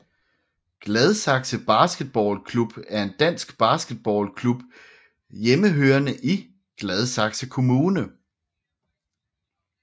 Gladsaxe Basketball Klub er en dansk basketballklub hjemmehørende i Gladsaxe Kommune